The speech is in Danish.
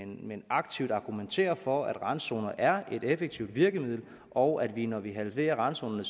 men aktivt argumenterer for at randzoner er et effektivt virkemiddel og at vi når vi halverer randzonerne